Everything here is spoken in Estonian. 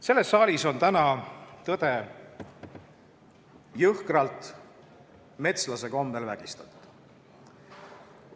Selles saalis on täna tõde jõhkralt, metslase kombel vägistatud.